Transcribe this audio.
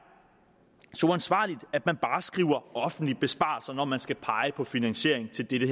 så uansvarligt at man bare skriver offentlige besparelser når man skal pege på finansiering til dette